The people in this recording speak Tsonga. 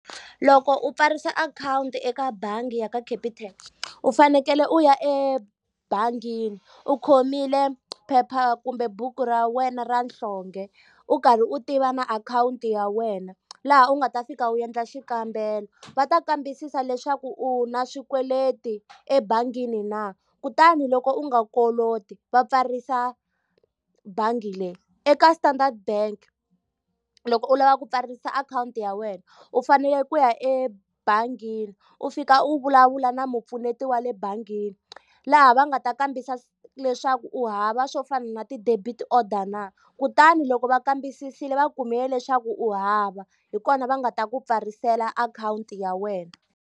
Loko u pfarisa akhawunti eka bangi ya ka Capitec, u fanekele u ya ebangini u khomile phepha kumbe buku ra wena ra nhlonge, u karhi u tiva na akhawunti ya wena. Laha u nga ta fika u endla xikambelo. Va ta kambisisa leswaku u na swikweleti ebangini na, kutani loko u nga koloti va pfarisa bangi leyi. Eka Standard Bank loko u lava ku pfarisa akhawunti ya wena, u fanele ku ya ebangini u fika u vulavula na mpfuneto wa le bangini. Laha va nga ta kombisisa leswaku u hava swo fana na ti-debit order na. Kutani loko va kambisisile va kumile leswaku u hava, hi kona va nga ta ku pfarilela akhawunti ya wena.